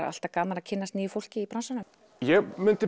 alltaf gaman að kynnast nýju fólki í bransanum ég myndi